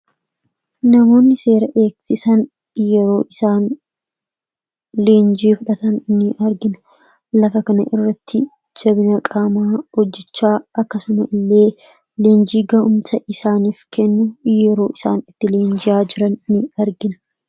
Namoonni seera kabajsiisan, yeroo isaan leenjii fudhatan ni argina. Lafa kana irratti ,jabina qaamaa hojjechaa akkasuma illee leenjii ga'uumsa isaanif kennu ,yeroo isaan itti leenjiyaa jiran ni argina.